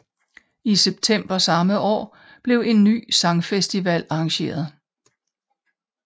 I september samme år blev en ny sangfestival arrangeret